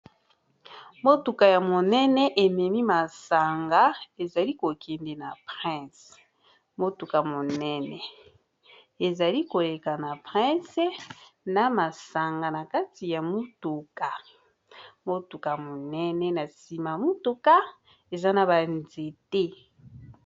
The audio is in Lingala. Motuka ya monene ememi masanga ezali kokende na prince motuka monene ezali koleka na prince na masanga na kati ya motuka motuka monene na nsima motuka eza na banzete